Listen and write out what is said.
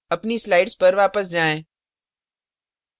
अपनी slides पर वापस जाएँ